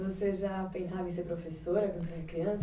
Você já pensava em ser professora quando tinha criança?